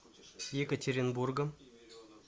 екатеринбургом